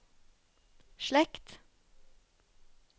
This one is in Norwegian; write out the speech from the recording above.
slekt